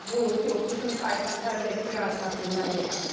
бұл киокушинкай кан каратэ федерациясының мәліметі